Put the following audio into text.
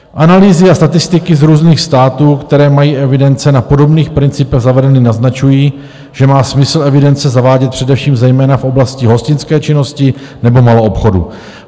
Analýzy a statistiky z různých států, které mají evidence na podobných principech zavedeny, naznačují, že má smysl evidence zavádět především zejména v oblasti hostinské činnosti nebo maloobchodu.